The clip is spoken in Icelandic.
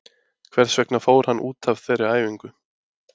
Hvers vegna fór hann út af þeirri æfingu?